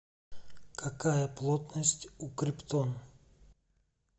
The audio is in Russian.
какая плотность у криптон